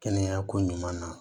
Kɛnɛya ko ɲuman na